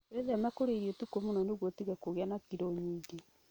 Wĩtheme kũrĩa irio ũtukũ mũno nĩguo ũtige kũgĩa na kilo nyingĩ.